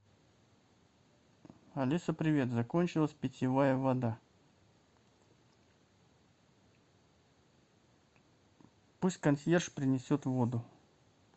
алиса привет закончилась питьевая вода пусть консьерж принесет воду